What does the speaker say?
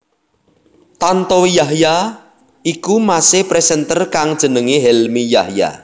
Tantowi Yahya iku mase presenter kang jenengé Helmi Yahya